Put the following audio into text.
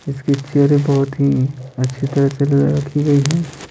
इसके चेहरे बहुत ही अच्छी तरह से रखी गई है।